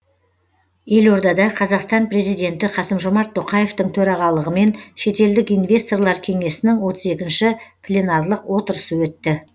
елордада қазақстан президенті қасым жомарт тоқаевтың төрағалығымен шетелдік инвесторлар кеңесінің отыз екінші пленарлық отырысы өтті